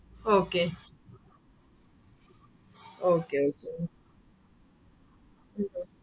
okay okay okay Maám